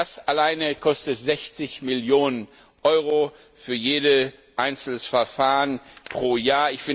Das alleine kostet 60 Millionen Euro für jedes einzelne Verfahren pro Jahr.